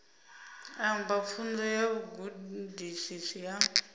amba pfunzo ya vhugudisi ya